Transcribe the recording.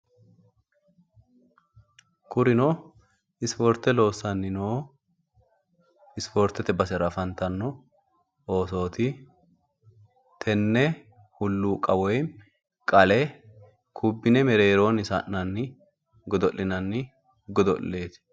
kurino ispoorte loossanni noo ispoorteete basera afantanno oosooti. tenne hulluuqa woyi qale kubbine mereeroonni sa'nanni godo'linanni godo'leeti.